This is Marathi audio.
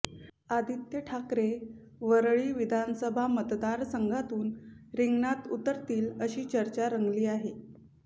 आदित्य ठाकरे वरळी विधानसभा मतदारसंघातून रिंगणात उतरतील अशी चर्चा रंगली आहे